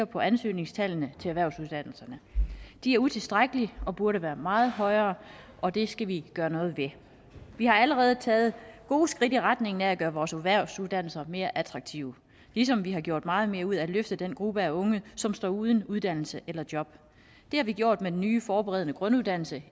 på ansøgningstallene til erhvervsuddannelserne de er utilstrækkelige og burde være meget højere og det skal vi gøre noget ved vi har allerede taget gode skridt i retning af at gøre vores erhvervsuddannelser mere attraktive ligesom vi har gjort meget mere ud af at løfte den gruppe af unge som står uden uddannelse eller job det har vi gjort med den nye forberedende grunduddannelse